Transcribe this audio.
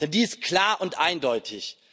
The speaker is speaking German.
Denn die ist klar und eindeutig.